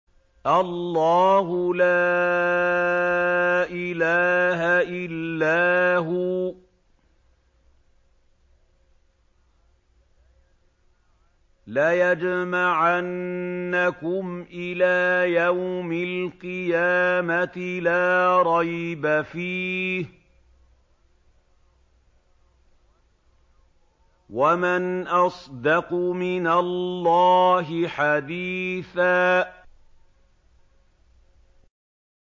اللَّهُ لَا إِلَٰهَ إِلَّا هُوَ ۚ لَيَجْمَعَنَّكُمْ إِلَىٰ يَوْمِ الْقِيَامَةِ لَا رَيْبَ فِيهِ ۗ وَمَنْ أَصْدَقُ مِنَ اللَّهِ حَدِيثًا